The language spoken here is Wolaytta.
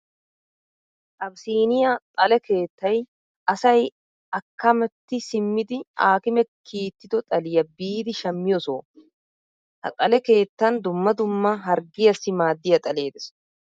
Abisiniya xale keettay asay akkametti simmidi aakimee kiittido xaliya biidi shammiyo soho. Ha xale keettan dumma dumma harggiyaassi maaddiya xalee des.